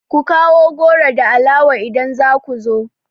Ku kawo goro da alawa idan za ku zo!